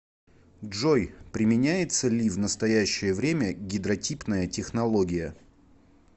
джой применяется ли в настоящее время гидротипная технология